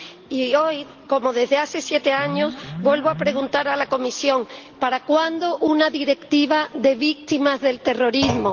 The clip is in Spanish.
Y hoy, como desde hace siete años, vuelvo a preguntar a la Comisión ¿para cuándo una Directiva de víctimas del terrorismo?